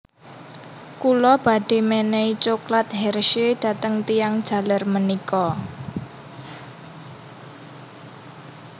Kula badhe menehi cokelat Hershey dateng tiyang jaler menika